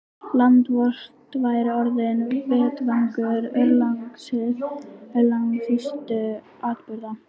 Land vort væri orðinn vettvangur örlagaríkustu atburða.